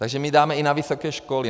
Takže my dáme i na vysoké školy.